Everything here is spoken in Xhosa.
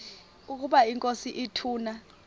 ukaba inkosi ituna